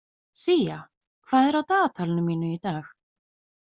Sía, hvað er á dagatalinu mínu í dag?